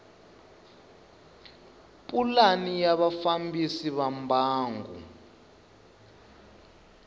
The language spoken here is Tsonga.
pulani ya vafambisi va mbangu